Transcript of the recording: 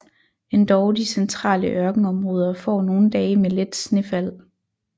Endog de centrale ørkenområder får nogle dage med let snefald